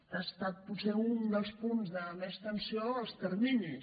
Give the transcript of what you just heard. que ha estat potser un dels punts de més tensió els terminis